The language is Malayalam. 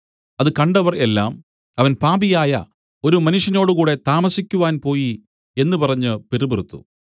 അത് കണ്ടവർ എല്ലാം അവൻ പാപിയായ ഒരു മനുഷ്യനോടു കൂടെ താമസിക്കുവാൻ പോയി എന്നു പറഞ്ഞു പിറുപിറുത്തു